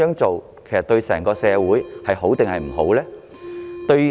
這對整個社會孰好孰壞呢？